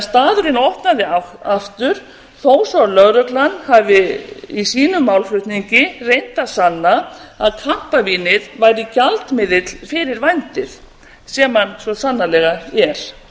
staðurinn opnaði því aftur þó svo að lögreglan hafi í sínum málflutningi reynt að sanna að kampavínið væri gjaldmiðill fyrir vændið sem hann svo sannarlega er